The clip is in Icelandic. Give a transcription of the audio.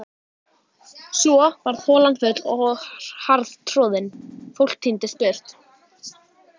Svo varð holan full og harðtroðin, fólk tíndist burt.